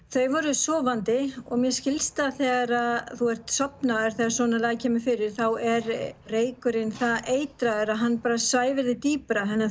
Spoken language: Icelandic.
þau voru sofandi og mér skilst að þegar að þú ert sofnaður þegar svona kemur fyrir þá er reykurinn það eitraður að hann svæfir þig dýpra þannig að